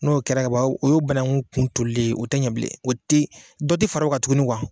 N'o kɛra kaban kuwa, o ye o banakun kuntɔlilen yen, o tɛ ɲɛ bilen, o tɛ dɔ tɛ fara ka tugun kuwa.